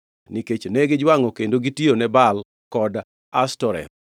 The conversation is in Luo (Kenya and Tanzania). nikech ne gijwangʼe kendo gitiyone Baal kod jo-Ashtoreth.